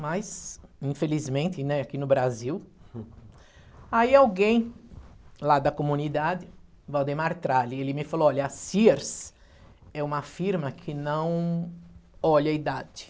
Mas, infelizmente, né, aqui no Brasil... Aí alguém lá da comunidade, Valdemar Tralli, ele me falou, olha, a Sears é uma firma que não olha a idade.